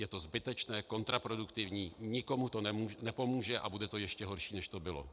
Je to zbytečné, kontraproduktivní, nikomu to nepomůže a bude to ještě horší, než to bylo.